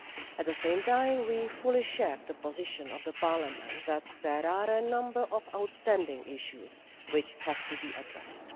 At the same time we fully share the position of Parliament that there are a number of outstanding issues which have to be addressed.